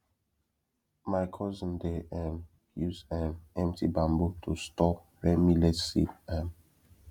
my cousin dey um use um empty bamboo to store rare millet seed um